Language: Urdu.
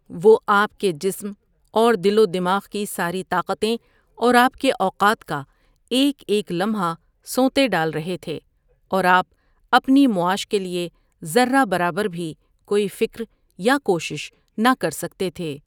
وہ آپ کے جسم اور دل و دماغ کی ساری طاقتیں اور آپ کے اوقات کا ایک ایک لمحہ سونتے ڈال رہے تھے اور آپ اپنی معاش کے لیے ذرہ برابر بھی کوئی فکر یا کوشش نہ کر سکتے تھے ۔